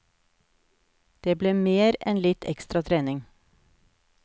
Det ble mer enn litt ekstra trening.